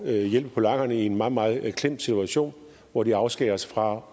at hjælpe polakkerne i en meget meget klemt situation hvor de afskæres fra